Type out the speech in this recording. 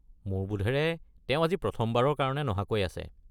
মোৰ বোধেৰে তেওঁ আজি প্ৰথমবাৰৰ কাৰণে নহাকৈ আছে।